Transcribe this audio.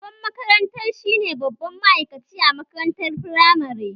Shugaban makaranta shi ne babban ma'aikaci a makarantar firamare